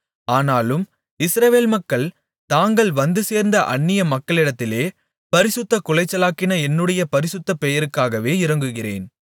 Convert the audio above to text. ஆனாலும் இஸ்ரவேல் மக்கள் தாங்கள் வந்துசேர்ந்த அந்நிய மக்களிடத்திலே பரிசுத்தக்குலைச்சலாக்கின என்னுடைய பரிசுத்த பெயருக்காகவே இரங்குகிறேன்